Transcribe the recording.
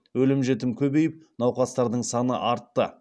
өлім жітім көбейіп науқастардың саны артты